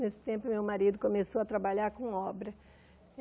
Nesse tempo, meu marido começou a trabalhar com obra.